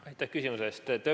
Aitäh küsimuse eest!